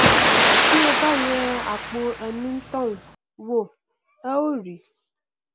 tí ẹ bá yẹ àpọ enítọhún wò ẹ ó rí